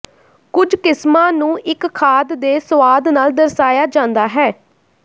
ਕੁਝ ਕਿਸਮਾਂ ਨੂੰ ਇੱਕ ਖਾਦ ਦੇ ਸੁਆਦ ਨਾਲ ਦਰਸਾਇਆ ਜਾਂਦਾ ਹੈ